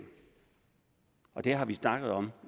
og det har vi snakket om